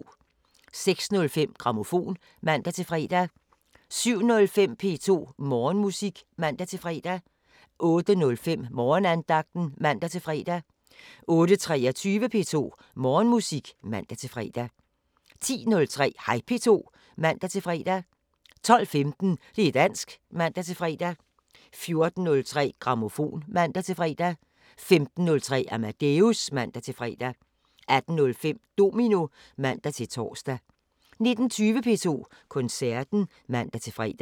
06:05: Grammofon (man-fre) 07:05: P2 Morgenmusik (man-fre) 08:05: Morgenandagten (man-fre) 08:23: P2 Morgenmusik (man-fre) 10:03: Hej P2 (man-fre) 12:15: Det´ dansk (man-fre) 14:03: Grammofon (man-fre) 15:03: Amadeus (man-fre) 18:05: Domino (man-tor) 19:20: P2 Koncerten (man-fre)